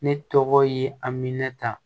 Ne tɔgɔ ye aminɛnta